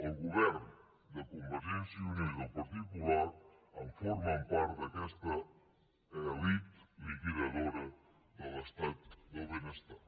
els governs de convergència i unió i del partit popular en formen part d’aquesta elit liquidadora de l’estat del benestar